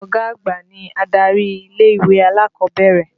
Ọ̀gá àgbà ni adarí ilé-ìwé alákọ̀ọ́bẹ̀rẹ̀.